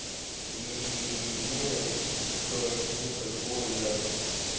ии ненависть к чему-то более